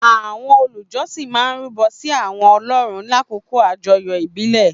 àwọn olùjọsìn máa ń rúbọ sí àwọn ọlọ́run lákòókò àjọyọ̀ ìbílẹ̀.